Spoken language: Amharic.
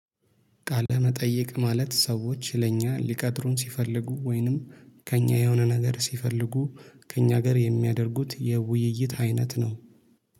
ቃለ መጠየቅ ማለት ሰዎች ለእኛ ሊቀጥሩን ሲፈልጉ ወይንም ከእኛ የሆነ ነገር ሲፈልጉ ከእኛ ጋር የሚያደርጉት የውይይት አይነት ነው